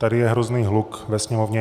Tady je hrozný hluk ve sněmovně.